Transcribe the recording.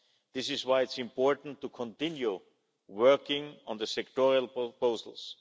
This is why it is important to continue working on the sectoral proposals.